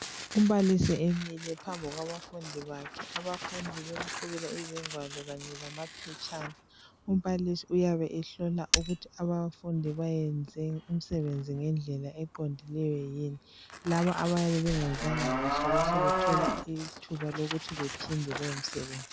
Umbalisi emile phambi kwabafundi bakhe abafundi bemqhubela izigwalo kanye lamaphetshana umbalisi uyabe ehlola ukuthi abafundi bayenze umsebenzi ngendlela eqondileyo yini laba abayabe bengenzanga kuhle behle bethole ithuba lokuthi bephinde lowo msebenzi.